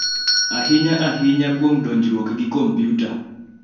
ahinya ahinya kuom donjruok gi kompiuta.